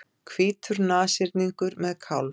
Hvítur nashyrningur með kálf.